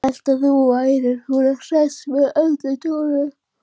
Ég hélt að þú værir svo hress með Önnu Dóru.